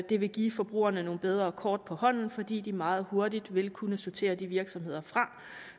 det vil give forbrugerne nogle bedre kort på hånden fordi de meget hurtigt vil kunne sortere de virksomheder fra